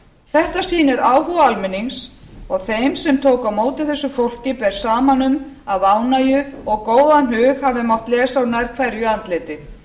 þetta sýnir áhuga almennings og þeim sem tóku á móti þessu fólki ber saman um að ánægju og góðan hug hafi mátt lesa úr nær hverju andliti